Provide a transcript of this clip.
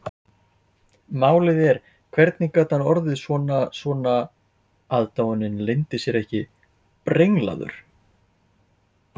Málið er, hvernig gat hann orðið svona, svona,- aðdáunin leyndi sér ekki- brenglaður?